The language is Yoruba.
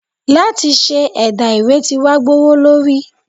láti se ẹdà- ìwé tí wa gbówólorí.